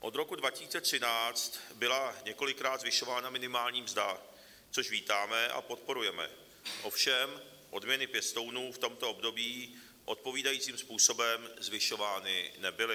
Od roku 2013 byla několikrát zvyšována minimální mzda, což vítáme a podporujeme, ovšem odměny pěstounů v tomto období odpovídajícím způsobem zvyšovány nebyly.